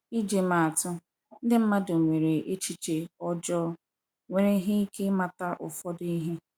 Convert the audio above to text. ịjị maa atụ, ndi madụ nwere echiche ojoo nwereghi ike ịmata ụfọdụ ihe.